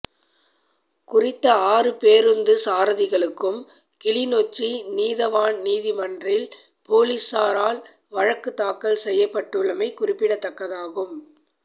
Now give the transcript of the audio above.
குறித்த ஆறு பேருந்து சாரதிகளுக்கும் கிளிநொச்சி நீதவான் நீதிமன்றில் பொலிசாரால் வழக்குத்தாக்கல் செய்யப்படுள்ளமை குறிப்பிடத்தக்கதாகும்